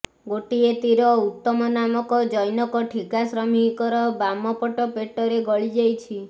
ଗୋଟିଏ ତୀର ଉତ୍ତମ ନାମକ ଜନ୘କ ଠିକା ଶ୍ରମିକର ବାମ ପଟ ପେଟରେ ଗଳି ଯାଇଛି